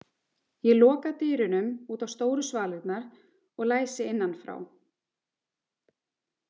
Ég loka dyrunum út á stóru svalirnar og læsi innan frá.